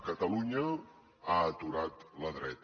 catalunya ha aturat la dreta